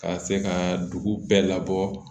Ka se ka dugu bɛɛ labɔ